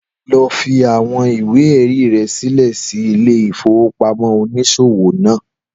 Lọ fi awọn ìwé-ẹ̀rí rẹ sílẹ̀ sí ilé ìfowópamọ́ oniṣowo naa.